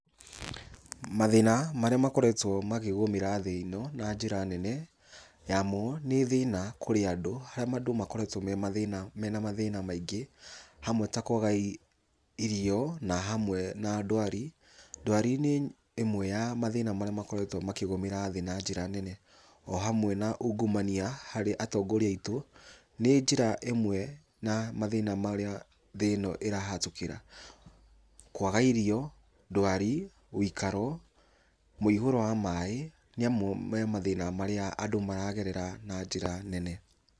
Mathĩna marĩa makoretwo makĩgũmĩra thĩ ĩno na njĩra nene, yamo nĩ thĩna kũrĩ andũ, harĩa andũ makoretwo memathĩna mena mathĩna maingĩ, hamwe ta kũaga irio na hamwe na ndwari. Ndwari nĩ ĩmwe ya mathĩna marĩa makoretwo makĩgũmĩra thĩ na njĩra nene. O hamwe na ungumania harĩ atongoria aitũ, nĩ njĩra ĩmwe na mathĩna marĩa thĩ ĩno ĩrahatũkĩra, kwaga irio, ndwari, wĩikaro, mũihũro wa maaĩ nĩ mamwe ma mathĩna marĩa andũ amaragerera na njĩra nene.